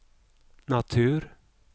natur